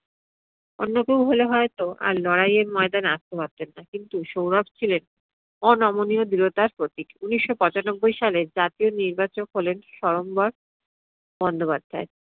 অন্য কেও হলে হয়তো আর লড়াইয়ের মইদানে আসতে পারতেন না কিন্তু সৌরভ ছিলেন অনমনীয় দৃঢ়টার প্রতীক। উনিশশো পঁচানব্বই সালে জাতীয় নির্বাচক হলেন সরম্বর বন্দ্যোপাধ্যায়।